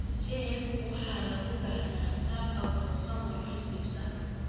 JEB waxa lagu dhaxlaa qaab autosomal recessive ah.